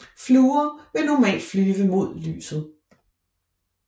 Fluer vil normalt flyve mod lyset